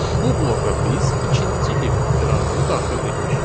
Bu bloka biz ikinci if operatorunu daxil etmişik.